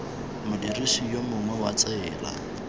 modirisi yo mongwe wa tsela